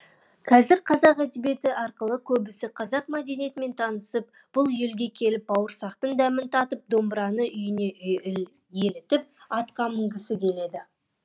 қазір қазақ әдебиеті арқылы көбісі қазақ мәдениетімен танысып бұл елге келіп бауырсақтың дәмін татып домбыраның үйіне елітіп атқа мінгісі келеді